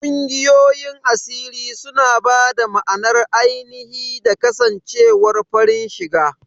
Ƙungiyoyin asiri suna ba da ma'anar ainihi da kasancewar farin shiga..